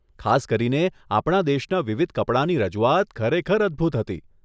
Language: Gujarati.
ખાસ કરીને, આપણા દેશના વિવિધ કપડાંની રજૂઆત ખરેખર અદભૂત હતી.